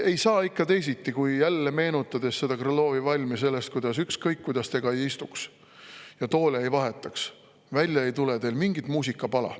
Ei saa ikka teisiti, kui jälle meenutades Krõlovi valmi sellest, et ükskõik kuidas te ka ei istuks ja toole ei vahetaks, välja ei tule teil mingit muusikapala.